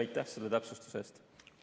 Aitäh selle täpsustuse eest!